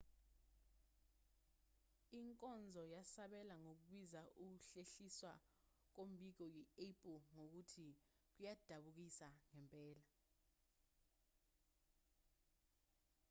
inkonzo yasabela ngokubiza ukuhlehliswa kombiko yi-apple ngokuthi kuyadabukisa ngempela